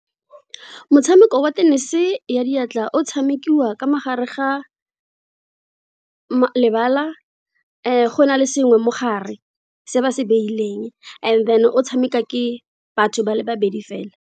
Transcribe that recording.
Motshameko wa tenese ya diatla o tshamekiwa ka mogare ga lebala go na le sengwe mogare se ba se beileng and then o tshameka ke batho ba le babedi fela.